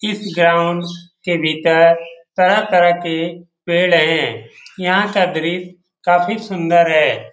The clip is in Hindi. इस गांव के भीतर तरह-तरह के पेड़ है। यहाँ का दृश्य काफी सुंदर है।